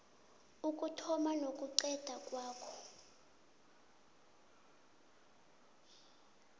ukuthoma nokuqeda ngawo